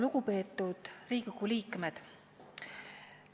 Lugupeetud Riigikogu liikmed!